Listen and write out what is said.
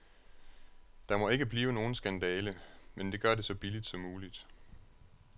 Der må ikke blive nogen skandale, men gør det så billigt som muligt.